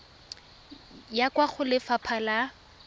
ya kwa go lefapha la